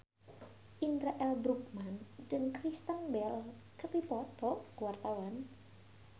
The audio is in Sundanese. Indra L. Bruggman jeung Kristen Bell keur dipoto ku wartawan